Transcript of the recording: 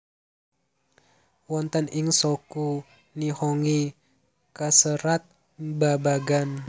Wonten ing Shoku Nihongi kaserat babagan